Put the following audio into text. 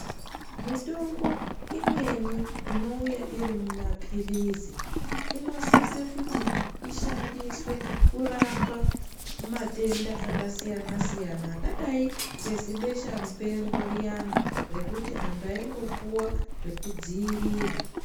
Mitombo imweni inouya iri mumaphirizi inosise kuti ishandiswe kurapa matenda akasiyana-siyana. Akadai nezibesha mupengo riyana rekuti antu aingopuva zvekudzirira.